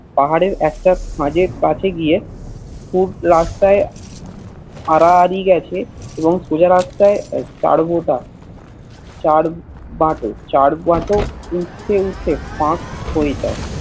পাহাড়ের একটা খাঁজের কাছে গিয়ে পূর্ব রাস্তায় আড়াআড়ি গেছে এবং সোজা রাস্তায় চার গোটা চার বাট চার বাটো উঠতে উঠতে ফাক হয়ে যায়